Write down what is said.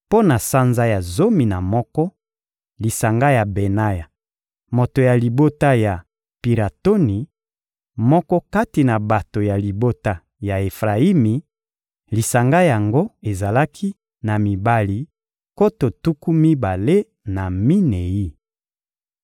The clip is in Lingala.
Mpo na sanza ya zomi na moko: lisanga ya Benaya, moto ya libota ya Piratoni, moko kati na bato ya libota ya Efrayimi; lisanga yango ezalaki na mibali nkoto tuku mibale na minei.